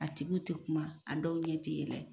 A tigiw tɛ kuma, a dɔw ɲɛ tɛ yɛlɛ.